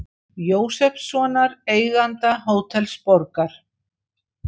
Jósefssonar, eiganda Hótels Borgar.